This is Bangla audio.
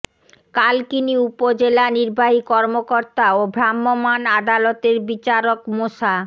কালকিনি উপজেলা নির্বাহী কর্মকর্তা ও ভ্রাম্যমাণ আদালতের বিচারক মোসা